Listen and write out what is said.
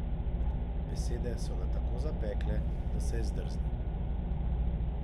Besede so ga tako zapekle, da se je zdrznil.